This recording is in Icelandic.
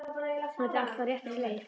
Þetta er allt á réttri leið.